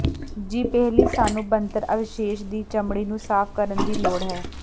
ਜੀ ਪਹਿਲੀ ਸਾਨੂੰ ਬਣਤਰ ਅਵਸ਼ੇਸ਼ ਦੀ ਚਮੜੀ ਨੂੰ ਸਾਫ਼ ਕਰਨ ਦੀ ਲੋੜ ਹੈ